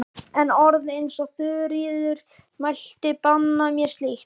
En orð eins og Þuríður mælti banna mér slíkt.